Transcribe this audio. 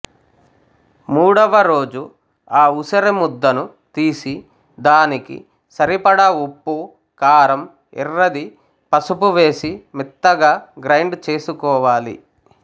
మూడవరోజు ఆ ఉసిరి ముద్దని తీసి దానికి సరిపడ ఉప్పు కారం ఎర్రది పసుపు వేసి మెత్తగా గ్రైండ్ చేసుకోవాలి